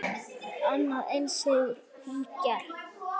Annað eins hefur hún gert.